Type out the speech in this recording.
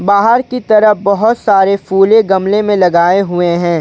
बाहर की तरफ बहुत सारे फूले गमले में लगाए हुए हैं।